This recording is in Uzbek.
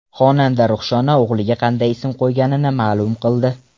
Xonanda Ruxshona o‘g‘liga qanday ism qo‘yganini ma’lum qildi.